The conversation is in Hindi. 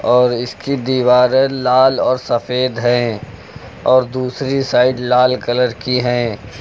और इसकी दीवारें लाल और सफेद हैं और दूसरी साइड लाल कलर की हैं।